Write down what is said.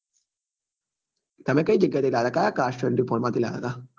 તમે કઈ જગ્યા એ થી લાવ્યા હતા કયા cars twenty-four માં થી લય હતા?